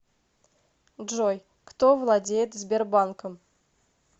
джой кто владеет сбербанком